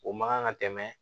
O man kan ka tɛmɛ